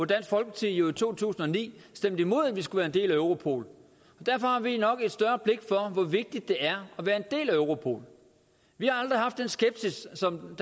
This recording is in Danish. dansk folkeparti jo i to tusind og ni stemte imod at vi skulle være en del af europol derfor har vi nok et større blik for hvor vigtigt det er at være en del af europol vi har aldrig haft den skepsis som